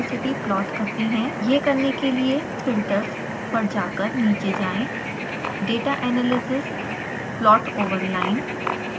यह करने के लिए filters पर जाकर नीचे जाएँ > data analysis > plot over line